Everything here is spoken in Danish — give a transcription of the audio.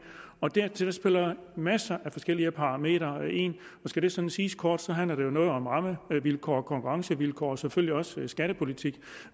dertil spiller masser af forskellige parametre ind og skal det sådan siges kort handler det jo noget om rammevilkår og konkurrencevilkår og selvfølgelig også skattepolitik